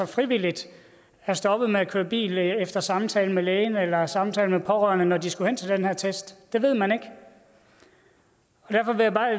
frivilligt er stoppet med at køre bil efter samtale med lægen eller samtale med pårørende når de skulle hen til den her test det ved man ikke derfor